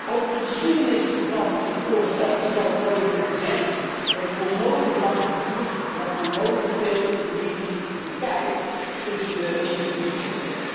Over de geschiedenis van het voorstel is al het nodige gezegd. Het heeft onnodig lang geduurd met onnodig veel juridisch gekijf tussen de instellingen.